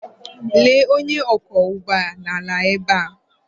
Lee onye ọkwọ ụgbọ ala ebe a.